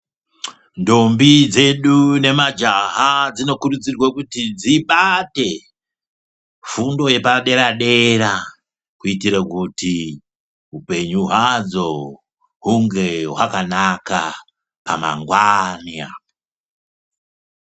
Ndombi dzedu nemajaha dzinokurudzurwe kuti dzibate fundo yepadera-dera kuitire kuti upenyu hwadzo hunge hwakanaka pamangwani apo.